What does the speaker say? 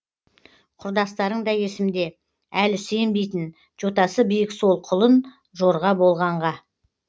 құрдастарың да есімде әлі сенбейтін жотасы биік сол құлын жорға болғанға